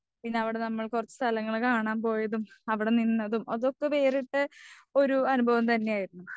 പിന്നെയവിടെ കുറച്ചു സ്ഥലങ്ങള് കാണാൻ പോയതും അവിടെ നിന്നതും അതൊക്കെ വേറിട്ട ഒരു അനുഭവം തന്നെയായിരുന്നു.